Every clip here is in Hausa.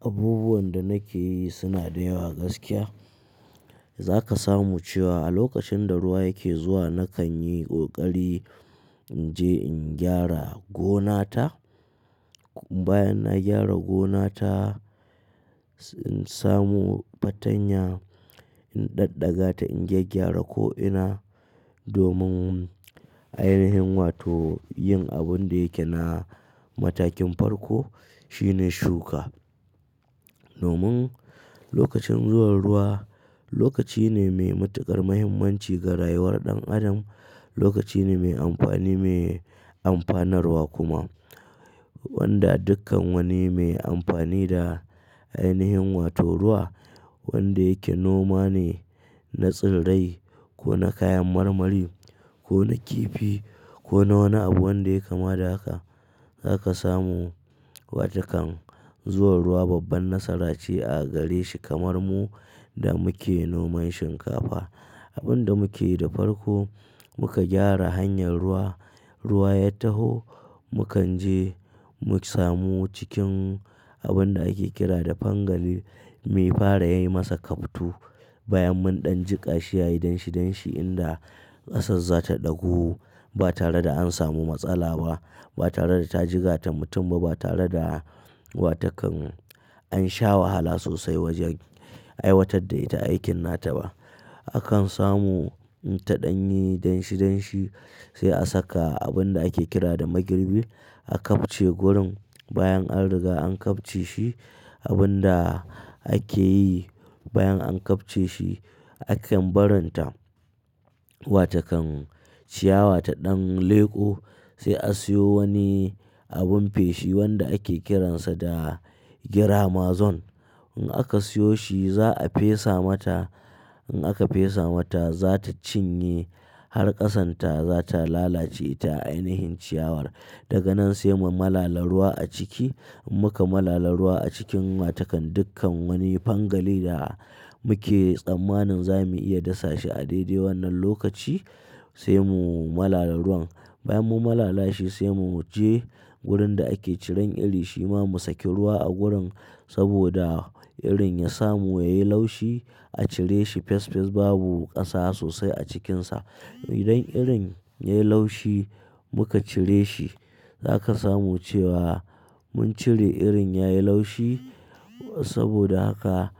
Abubuwan da nake yi suna da yawa gaskiya. Zaka samu cewa a lokacin da ruwa yake zuwa nakan yi ƙoƙari in je in gyara gonata. Bayan na gyara gonata, sai in samo fatanya in ɗaɗɗaga ta in gyaggyara ko'ina domin ainihin wato yin abun da yake na matakin farko shine shuka. Domin lokacin zuwan ruwa lokaci ne mai matuƙar muhimmanci ga rayuwar ɗan adam. Lokaci ne mai amfani, mai amfanarwa kuma wanda dukkan wani mai amfani da ainihin wato ruwa wanda yake noma ne, na tsirrai ko na kayan marmari ko na kifi ko na wani abu wanda yai kama da haka. Zaka samu watakan zuwan ruwa babban nasara ce a gare shi kamar mu da muke noman shinkafa. Abun da muke yi da farko muka gyara hanyar ruwa. Ruwa ya taho, mu kan je mu samu cikin abun da ake kira da fangali mu fara yi masa kafto. Bayan mun ɗan jiƙa shi yayi danshi danshi inda ƙasar za ta ɗagu ba tare da an samu matsala ba, ba tare da ta jigata mutum ba, ba tare da watakan an sha wahala sosai wajen aiwatar da ita aikin nata ba. Akan samu in ta ɗan yi danshi danshi sai a saka abun da ake kira da magirbi. A kafce gurin bayan an riga an kafce shi. Abun da ake yi bayan an kafce shi, a kan barin ta watakan ciyawa ta ɗan leƙo sai a siyo wani abun feshi wanda ake kiransa da gira mazon. In aka siyo shi za a fesa mata. In aka fesa mata za ta cinye har ƙasan ta za ta lalace ta ainihin ciyawar. Daga nan sai mu malala ruwa a ciki. Muka malala ruwa a cikin watakan dukkan wani fangali da muke tsammanin za mu iya dasa shi a daidai wannan lokaci, sai mu malala ruwan. Bayan mun malalashi sai mu je wurin da ake ciran iri, shima mu saki ruwa a gurin saboda irin ya samu yayi laushi a cire shi fes fes babu ƙasa sosai a cikinsa. Idan irin yayi laushi muka cire shi. Zaka samu cewa mun cire irin yayi laushi saboda haka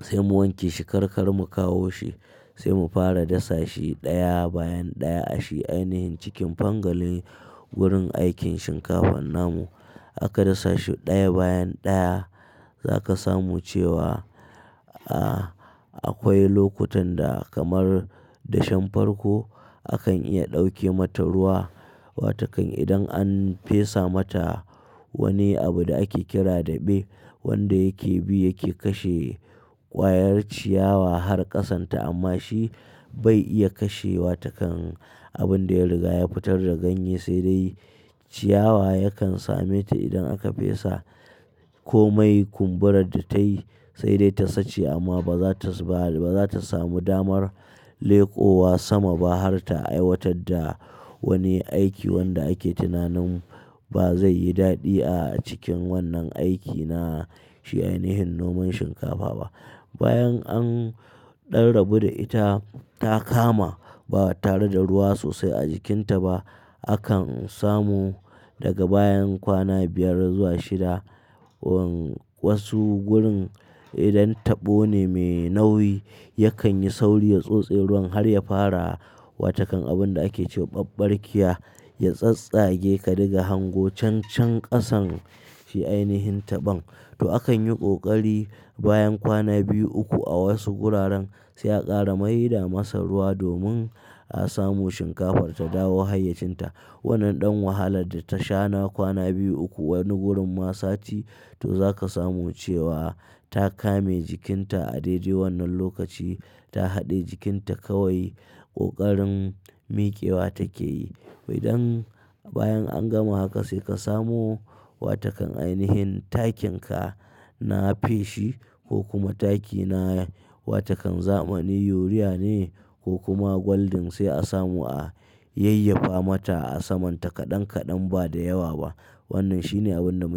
sai mu wanke shi karkar mu kawo shi sai mu fara dasa shi ɗaya bayan ɗaya a shi ainihin cikin fangalin gurin aikin shinkafan namu. Aka dasa shi ɗaya bayan ɗaya. Zaka samu cewa, ah, akwai lokutan da kamar dashen farko akan iya ɗauke mata ruwa watakan idan an fesa mata wani abu da ake kira da ɓe wanda yake bi yake kashe ƙwayar ciyawa har ƙasan ta amma shi bai iya kashe watakan abun da ya riga ya fitar da ganye sai dai ciyawa yakan same ta idan aka fesa komai kumburar da ta yi sai dai ta sache amma ba za ta, ba, ba za ta samu damar leƙowa sama ba har ta aiwatar da wani aiki wanda ake tunanin ba zai yi daɗi a cikin wannan aiki na shi ainihin noman shinkafa ba. Bayan an rarrabu da ita ta kama ba tare da ruwa sosai a jikinta ba. Akan samu daga bayan kwana biyar zuwa shida. Wasu gurin idan taɓo ne mai nauyi yakan yi sauri ya tsotse ruwan har ya fara watakan abun da ake cewa caccarkiya ya tsattsage ka diga hango cancan ƙasan shi ainihin taɓan. To akan yi kokari bayan kwana biyu uku a wasu guraren sai a ƙara mai da masa ruwa domin a samu shinkafar ta dawo hayyacinta. Wannan ɗan wahalar da ta sha na kwana biyu uku, wani gurin ma sati, to za ka samu cewa ta kame jikinta a daidai wannan lokaci. Ta haɗe jikinta kawai ƙoƙarin miƙewa take yi. Idan bayan an gama haka sai ka samu watakan ainihin takinka na feshi ko kuma taki na watakan zamani yuriya ne ko kuma gwaldin sai a samu a yayyafa mata a saman ta kaɗan kaɗan ba da yawa ba. Wannan shine abun da muke yi.